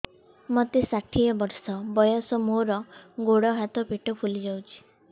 ମୋତେ ଷାଠିଏ ବର୍ଷ ବୟସ ମୋର ଗୋଡୋ ହାତ ପେଟ ଫୁଲି ଯାଉଛି